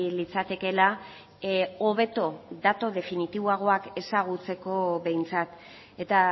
litzatekeela hobeto datu definitiboagoak ezagutzeko behintzat eta